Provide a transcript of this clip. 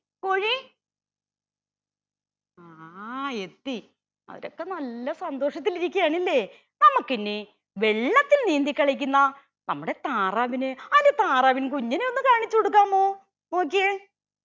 കോഴി ആ എത്തി അവരൊക്കെ നല്ല സന്തോഷത്തിലിരിക്കയാണല്ലേ നമ്മക്ക് ഇനി വെള്ളത്തിൽ നീന്തിക്കളിക്കുന്ന നമ്മുടെ താറാവിന് അതിന്റെ താറാവിൻ കുഞ്ഞിനെ ഒന്ന് കാണിച്ച കൊടുക്കാമോ നോക്കിയേ